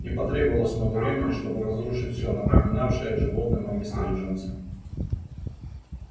не потребовалось много времени чтобы разрушить всё напоминавшее животным о мистере джонсе